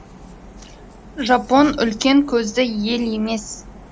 жапон үлкен көзді ел емес